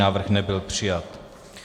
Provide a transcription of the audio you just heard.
Návrh nebyl přijat.